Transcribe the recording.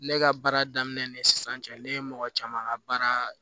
Ne ka baara daminɛ ni sisan cɛ ne ye mɔgɔ caman ka baara